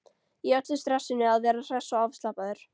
Í öllu stressinu að vera hress og afslappaður.